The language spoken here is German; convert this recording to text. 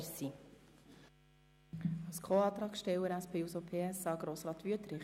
Als Co-Antragsteller für die SP-JUSO-PSA spricht Grossrat Wüthrich.